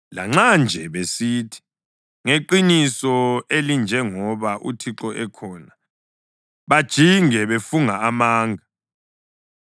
Lanxa nje besithi, ‘Ngeqiniso elinjengoba uThixo ekhona,’ bajinge befunga amanga.”